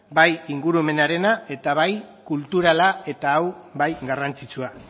bai ingurumenarena eta bai kulturala eta hau bai garrantzitsua